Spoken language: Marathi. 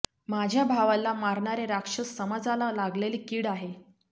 माझ्या भावाला मारणारे राक्षस समाजाला लागलेली कीड आहे